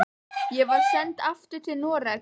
Ég var send aftur til Noregs.